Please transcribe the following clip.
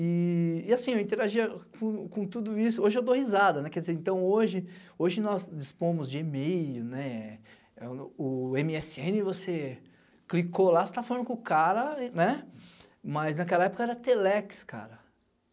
E assim, eu interagia com tudo isso, hoje eu dou risada, quer dizer, então hoje nós dispomos de e-mail, o emeesseene você clicou lá, você tá falando com o cara, mas naquela época era telex, cara.